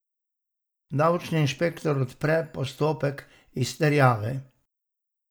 Davčni inšpektor odpre postopek izterjave.